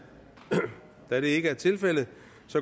da det ikke er tilfældet